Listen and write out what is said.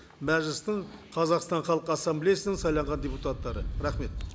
мәжілістің қазақстан халқы ассамблеясының сайланған депутаттары рахмет